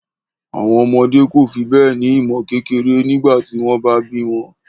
Àwọn ọmọdé kò fi bẹ́ẹ̀ ní ìmọ̀ kékeré nígbà tí wọ́n bá bí wọn